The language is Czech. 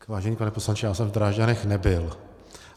Vážený pane poslanče, já jsem v Drážďanech nebyl.